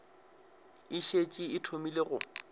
e šetše e thomile go